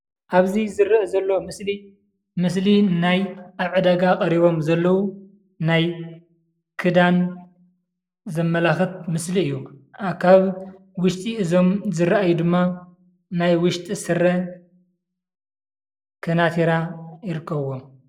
አብዚ ዝርአ ዘሎ ምስሊ ምስሊ ናይ አብ ዕዳጋ ቀሪቦም ዘለው ናይ ክዳን ዘመላኽት ምስሊ እዩ። ካብ ውሽጢ እዞም ዝርአዩ ድማ ናይ ውሽጢ ስረ፣ ከናቲራ ይርኸብዎም።